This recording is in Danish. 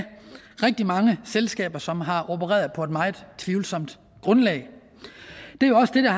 rigtig mange selskaber som har opereret på et meget tvivlsomt grundlag det er jo også det der